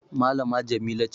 malama Jamila ce